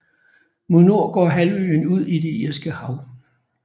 Mod nord går halvøen ud i det irske hav